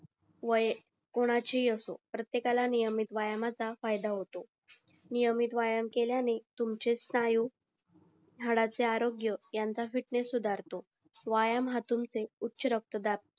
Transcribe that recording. वय कोणाची पण असो प्रत्येक आला नियमित व्यायामाला फायद होतो नियमित व्यायाम केल्याने तुमचे स्नायू हाडाचे आरोग्य यांचा फिटनेस सुधारतो व्यायाम हा तुमचे उच्चरक्तदाब